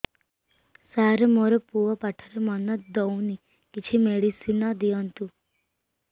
ସାର ମୋର ପୁଅ ପାଠରେ ମନ ଦଉନି କିଛି ମେଡିସିନ ଦିଅନ୍ତୁ